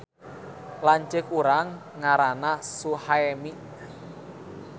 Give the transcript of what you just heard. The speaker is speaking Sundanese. Lanceuk urang ngaranna Suhaemi